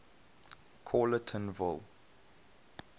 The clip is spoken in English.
callertonville